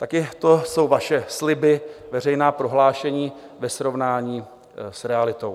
Také to jsou vaše sliby, veřejná prohlášení ve srovnání s realitou.